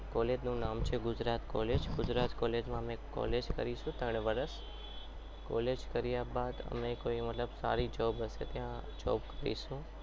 College નું નામ છે ગુજરાત college ગુજરાત college માં અમે college કરીશું ત્રણ વર્ષ college કર્યા બાદ અમે કોઈ મતલબ સારી job હશે ત્યાં જોબ કરીશું.